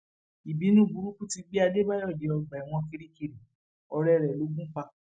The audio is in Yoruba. ìbínú burúkú ti gbé adébáyò dé ọgbà ẹwọn kirikiri ọrẹ rẹ ló gùn pa